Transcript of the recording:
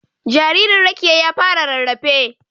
Jaririn Rekiya ya fara rarrafe.